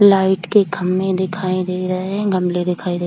light के खम्बे दिखाई दे रहे हैं गमले दिखाई दे रहे --